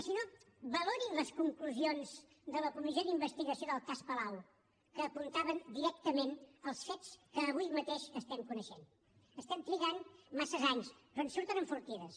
i si no valorin les conclusions de la comissió d’investigació del cas palau que apuntaven directament als fets que avui mateix estem coneixent estem trigant massa anys però en surten enfortides